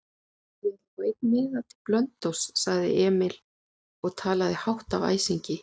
Ég ætla að fá einn miða til Blönduóss, sagði Emil og talaði hátt af æsingi.